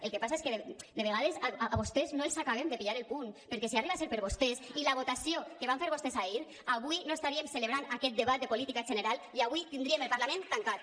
el que passa és que de vegades a vostès no els acabem de pillar el punt perquè si arriba a ser per vostès i la votació que van fer vostès ahir avui no estaríem celebrant aquest debat de política general i avui tindríem el parlament tancat